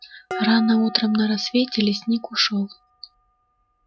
рано утром на рассвете лесник ушёл